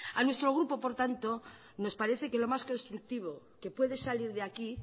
a nuestro grupo por tanto nos parece que lo más constructivo que puede salir de aquí